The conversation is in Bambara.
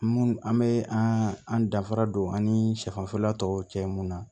Mun an bɛ an an danfara don an ni siyɛfan tɔw cɛ mun na